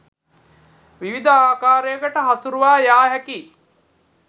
විවිධ ආකාරයකට හසුරුවා යා හැකියි.